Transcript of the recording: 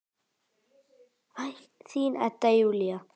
Þín, Edda Júlía.